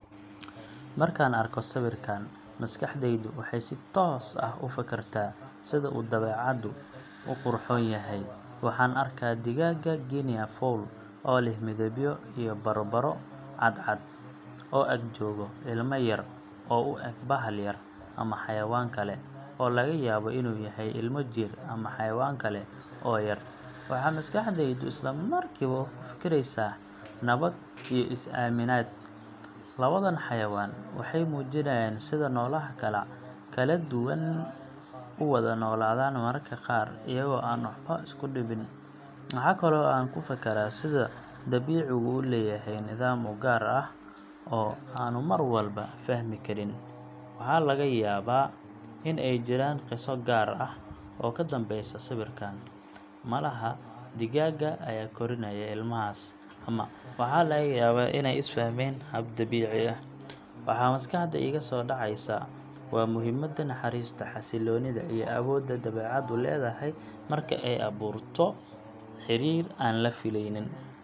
Markaan arko sawirkaan, maskaxdaydu waxay si toos ah u fakartaa sida uu dabeecadda u qurxoon yahay. Waxaan arkaa digaagga Guinea fowl oo leh midabyo iyo baro cad-cad, oo ag jooga ilmo yar oo u eg bahal yar ama xayawaan kale, oo laga yaabo inuu yahay ilmo jiir ama xayawaan kale oo yar. Waxa maskaxdaydu isla markiiba ku fakaraysaa: "Nabad iyo is-aaminaad." Labadan xayawaan waxay muujinayaan sida noolaha kala duwan u wada noolaadaan mararka qaar iyagoo aan waxba isku dhibin. Waxa kale oo aan ku fakaraa sida dabiicigu u leeyahay nidaam u gaar ah oo aanu mar walba fahmi karin. Waxaa laga yaabaa in ay jiraan qiso gaar ah oo ka dambaysa sawirkaan – malaha digaagga ayaa korinaya ilmahaas, ama waxa laga yaabaa inay is-fahmeen hab dabiici ah. Waxa maskaxda iiga soo dhacaysa waa muhiimadda naxariista, xasilloonida, iyo awoodda dabeecaddu leedahay marka ay abuurto xiriir aan la fileynin.